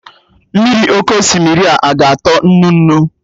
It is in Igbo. Mmiri oké osimiri a ka ga-atọ nnu nnu?